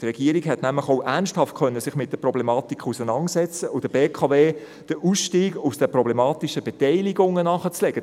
Die Regierung hätte sich nämlich auch ernsthaft mit der Problematik auseinandersetzen und der BKW den Ausstieg aus den problematischen Beteiligungen nahelegen können.